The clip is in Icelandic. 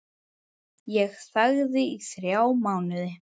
Ég þagði í þrjá mánuði.